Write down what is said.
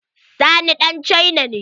Sani ɗan cina ne.